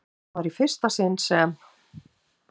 Þetta var í fyrsta sinn sem